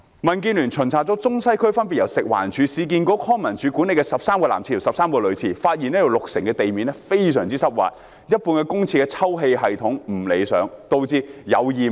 民建聯巡查了中西區分別由食環署、市區重建局、康樂及文化事務處管理的13個男廁及女廁，發現有六成廁所的地面非常濕滑，一半公廁的抽氣系統不理想，導致有異味。